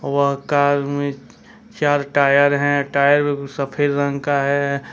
वह कार में चार टायर है टायर सफेद रंग का है।